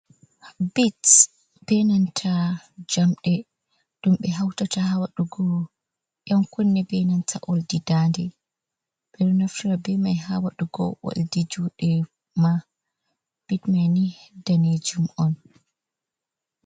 Bits benanta jamde ɗum ɓe hautata ha wadugo ɗan kunne, benanta oldi dandande. Beɗon aftara be mai ha wadugo oldi jude ma. Pattmai ni danejum on.